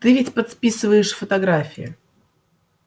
ты ведь подписываешь фотографии